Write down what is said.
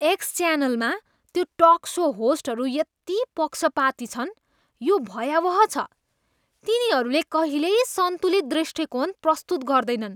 X च्यानलमा त्यो talk show होस्टहरू यति पक्षपाती छन्, यो भयावह छ। तिनीहरूले कहिल्यै सन्तुलित दृष्टिकोण प्रस्तुत गर्दैनन्।